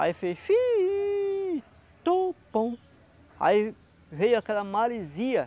Aí fez. Aí veio aquela maresia.